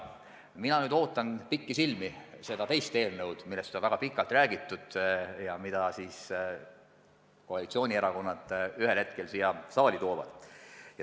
Mina nüüd ootan pikisilmi seda teist eelnõu, millest on väga pikalt räägitud ja mille siis koalitsioonierakonnad ühel hetkel siia saali toovad.